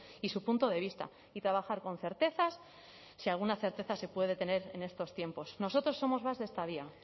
y su punto de vista y trabajar con certezas si alguna certeza se puede tener en estos tiempos nosotros somos más de esta vía